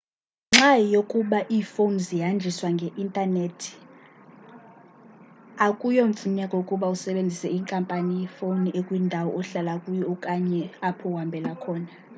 ngenxa yokuba iifowuni zihanjiswa nge-intanethi akuyomfuneko ukuba usebenzise inkampani yefowuni ekwindawo ohlala kuyo okanye apho uhambela khona